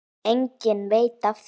Enginn veit af þeim.